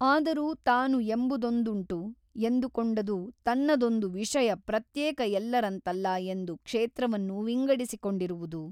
ಆದರೂ ತಾನು ಎಂಬುದೊಂದುಂಟು ಎಂದುಕೊಂಡುದು ತನ್ನದೊಂದು ವಿಷಯ ಪ್ರತ್ಯೇಕ ಎಲ್ಲರಂತಲ್ಲ ಎಂದು ಕ್ಷೇತ್ರವನ್ನು ವಿಂಗಡಿಸಿಕೊಂಡಿರುವುದು.